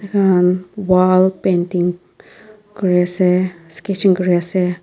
wall painting kuriase sketching kuriase.